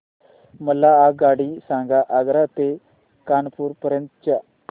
मला आगगाडी सांगा आग्रा ते कानपुर पर्यंत च्या